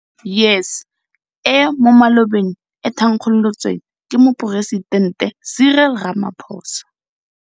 YES, e mo malobeng e thankgolotsweng ke Moporesitente Cyril Ramaphosa,